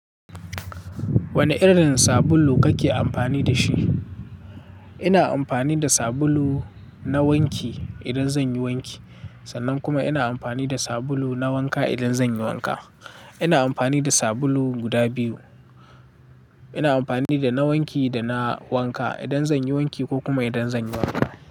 Wane irin sabulu kake amfani da shi? Ina amfani da sabulu na wanki idan zan yi wanki, sannan kuma ina amfani da sabulu na wanka idan zan yi wanka. Ina amfani da sabulu guda biyu. Ina amfani da na wanki da na wanka idan zan yi wanki ko kuma idan zan yi wanka.